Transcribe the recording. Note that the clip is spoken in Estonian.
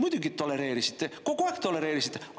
Muidugi tolereerisite, kogu aeg tolereerisite!